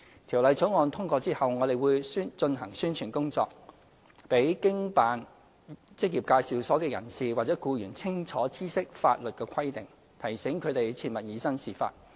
《條例草案》通過後，我們會進行宣傳工作，讓經辦職業介紹所的人士或僱員清楚知悉法律規定，提醒他們切勿以身試法。